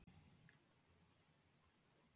Boði: Nei, þú tekur hana á Þorláksmessu, eða hvað?